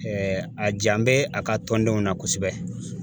a jan bɛ a ka tɔndenw na kosɛbɛ.